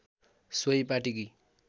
सोही पाटीकी